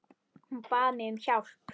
Hún bað mig um hjálp.